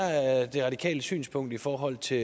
de radikales synspunkt i forhold til